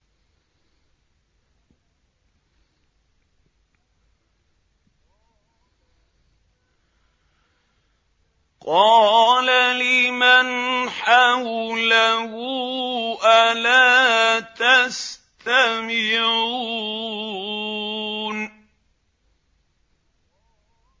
قَالَ لِمَنْ حَوْلَهُ أَلَا تَسْتَمِعُونَ